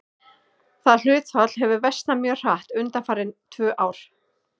Það hlutfall hefur versnað mjög hratt undanfarin tvö ár.